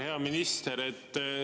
Hea minister!